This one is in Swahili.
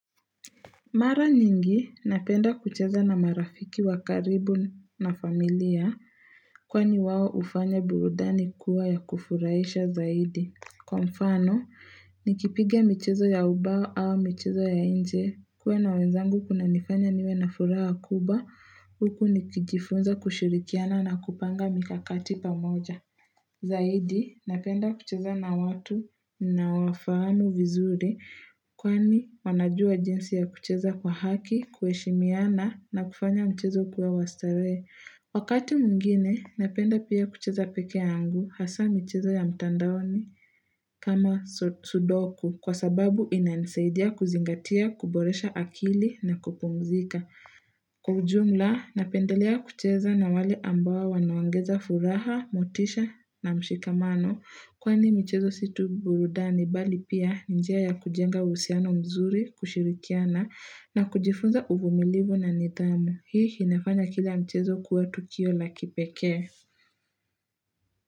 Mara nyingi, napenda kucheza na marafiki wa karibu na familia kwani wao hufanya burudani kuwa ya kufurahisha zaidi. Kwa mfano, nikipiga michezo ya ubao au michezo ya inje kuwe na wenzangu kunanifanya niwe na furaha kubwa huku nikijifunza kushirikiana na kupanga mikakati pamoja. Zaidi, napenda kucheza na watu nawafahamu vizuri kwani wanajua jinsi ya kucheza kwa haki, kuheshimiana na kufanya mchezo ukuwe wa starehe Wakati mwngine, napenda pia kucheza peke yangu hasa michezo ya mtandaoni kama sudoku kwa sababu inanisaidia kuzingatia, kuboresha akili na kupumzika. Kwa ujumla napendelea kucheza na wale ambao wanaongeza furaha, motisha na mshikamano kwani michezo si tuburudani bali pia njia ya kujenga uhusiano mzuri kushirikiana na kujifunza uvumilivu na nidhamu. Hii inafanya kila mchezo ukuwe tukio la kipeke.